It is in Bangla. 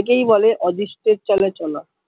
একেই বলে অদৃষ্টের চলে চলা